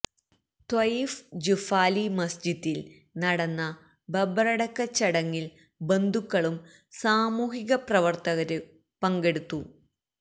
Taif Juffali മസ്ജിദിൽ നടന്ന ഖബറടക്ക ചടങ്ങിൽ ബന്ധുക്കളും സാമൂഹിക പ്രവർത്തകരും പങ്കെടുത്തു